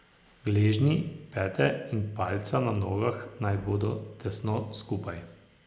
Gležnji, pete in palca na nogah naj bodo tesno skupaj.